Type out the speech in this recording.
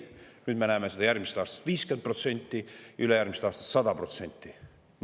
Nüüd me näeme, et see on järgmisest aastast 50% ja ülejärgmisest aastast 100%.